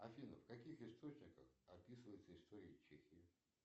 афина в каких источниках описывается история чехии